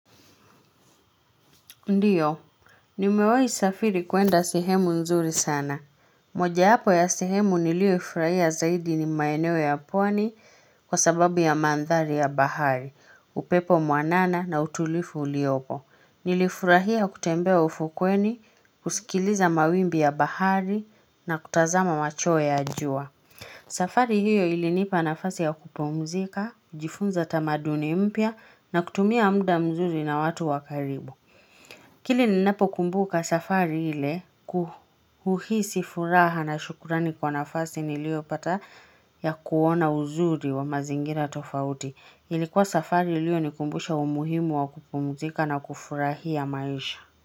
Ndiyo, nimewai safiri kuenda sehemu nzuri sana. Moja hapo ya sehemu niliyoifurahia zaidi ni maeneo ya pwani kwa sababu ya mandhari ya bahari, upepo mwanana na utulivu uliopo. Nilifurahia kutembea ufukweni, kusikiliza mawimbi ya bahari na kutazama macho ya ajua. Safari hiyo ilinipa nafasi ya kupumzika, jifunza tamaduni mpya na kutumia muda mzuri na watu wakaribu. Kile ninapo kumbuka safari ile kuuhisi furaha na shukrani kwa nafasi niliyopata ya kuona uzuri wa mazingira tofauti. Ilikuwa safari iliyonikumbusha umuhimu wa kupumzika na kufurahia maisha.